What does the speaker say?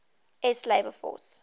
s labor force